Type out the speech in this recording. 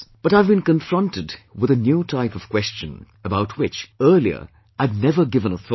But I have been confronted with a new type of question, about which earlier I had never given a thought